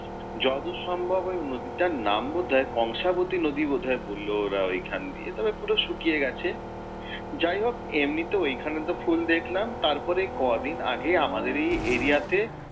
যতদূর সম্ভব ওই নদীটার নাম বোধহয় কংশাবতি নদী বোধহয় বললো ওরা ওই খান দিয়ে। তবে পুরো শুকিয়ে গেছে। যাই হোক এমনিতে ওইখানে তো ফুল দেখলাম, তারপর কয়দিন আগে আমাদের এই area তে